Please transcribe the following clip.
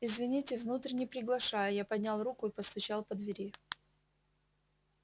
извините внутрь не приглашаю я поднял руку и постучал по двери